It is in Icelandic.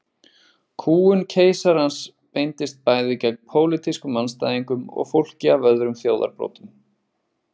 Kúgun keisarans beindist bæði gegn pólitískum andstæðingum og fólki af öðrum þjóðarbrotum.